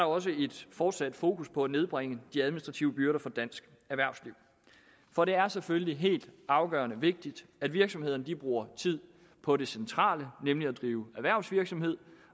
også et fortsat fokus på at nedbringe de administrative byrder for dansk erhvervsliv for det er selvfølgelig helt afgørende vigtigt at virksomhederne bruger tid på det centrale nemlig at drive erhvervsvirksomhed